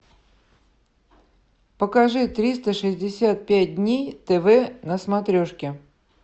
покажи триста шестьдесят пять дней тв на смотрешке